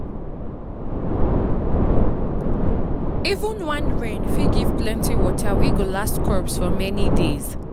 even one rain fit give plenty water wey go last crops for many days.